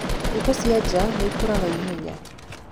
Ngũkũ cia njaa nĩikũraga ihenya.